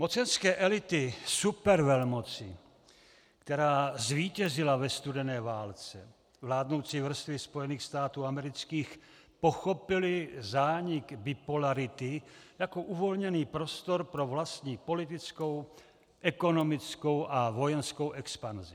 Mocenské elity supervelmoci, která zvítězila ve studené válce, vládnoucí vrstvy Spojených států amerických, pochopily zánik bipolarity jako uvolněný prostor pro vlastní politickou, ekonomickou a vojenskou expanzi.